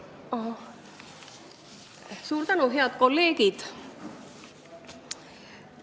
Head kolleegid!